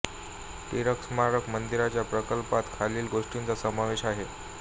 टिळक स्मारक मंदिराच्या प्रकल्पात खालील गोष्टींचा समावेश आहे